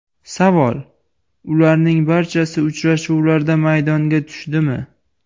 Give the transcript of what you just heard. Savol: Ularning barchasi uchrashuvlarda maydonga tushdimi?